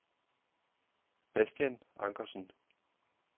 Bastian Ankersen